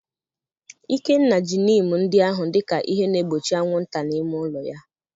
Ikenna ji neem ndị ahụ dị ka ihe na-egbochi anwụnta n'ime ụlọ ya.